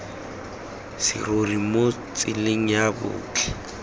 serori mo tseleng ya botlhe